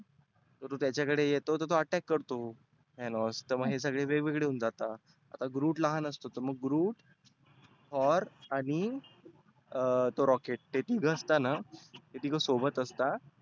groot त्याच्या कडे येतो तर तो attack करतो. thanos तर हे सगळे वेगवेगळे होऊन जातात. आता groot लहान असतो तर groot, thor आणि अं तो rocket ते तीघ असता ना हे तीघ सोबत असता.